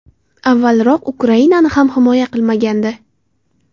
Avvalroq Ukrainani ham himoya qilmagandi.